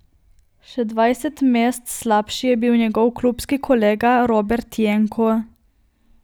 Še dvajset mest slabši je bil njegov klubski kolega Robert Jenko.